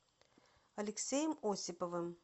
алексеем осиповым